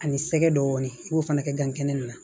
Ani sɛgɛ dɔɔnin n y'o fana kɛ gan kɛnɛ na